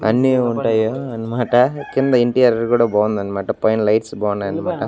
అన్నీ ఉంటాయ్ యా అన్మాట కింద ఇంటియర్ కుడా బావుందన్మాట పైనా లైట్స్ బావున్నాయన్మాట.